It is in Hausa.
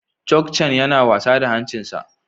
Chogchan yana wasa da hancinsa.